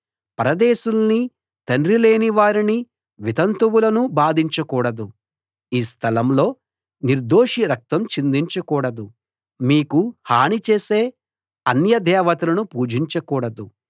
పరదేశుల్నీ తండ్రి లేని వారినీ వితంతువులనూ బాధించకూడదు ఈ స్థలంలో నిర్దోషి రక్తం చిందించకూడదు మీకు హాని చేసే అన్య దేవతలను పూజించకూడదు